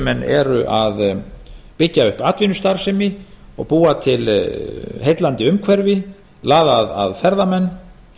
menn eru að byggja upp atvinnustarfsemi og búa til heillandi umhverfi laða að ferðamenn